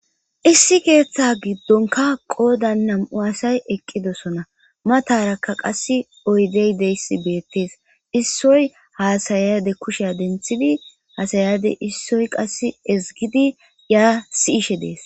Issi ketha gidonka qodan na'mu asati eqidosona mataraka qasi oyidey deyis betes issoy hasayade kushay denthidi hasayade issoy qasi esgidi eay si'she des